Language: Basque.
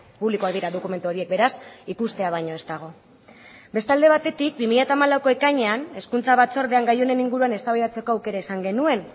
publikoak dira dokumentu horiek beraz ikustea baino ez dago beste alde batetatik bi mila hamalauko ekainean hezkuntza batzordean gai honen inguruan eztabaidatzeko aukera izan genuen